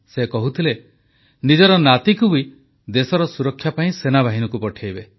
ସେ କହୁଥିଲେ ନିଜର ନାତିକୁ ବି ଦେଶର ସୁରକ୍ଷା ପାଇଁ ସେନାବାହିନୀକୁ ପଠାଇବେ